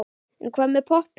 En hvað með poppið?